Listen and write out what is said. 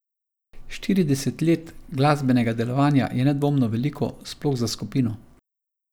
Štirideset let glasbenega delovanja je nedvomno veliko, sploh za skupino.